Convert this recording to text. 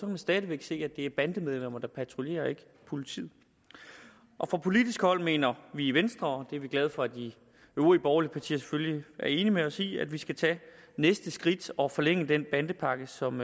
man stadig væk se at det er bandemedlemmer der patruljerer og ikke politiet fra politisk hold mener vi i venstre og det er vi glade for at de øvrige borgerlige partier selvfølgelig er enige med os i at vi skal tage næste skridt og forlænge den bandepakke som